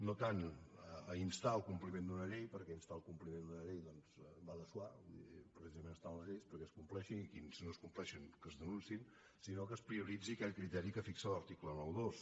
no tant a instar el compliment d’una llei perquè instar el compliment d’una llei doncs va de soi vull dir precisament estan les lleis perquè es compleixin i si no les compleixen que es denunciïn sinó que es prioritzi aquell criteri que fixa l’article noranta dos